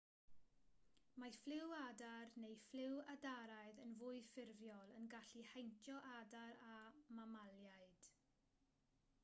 mae ffliw adar neu ffliw adaraidd yn fwy ffurfiol yn gallu heintio adar a mamaliaid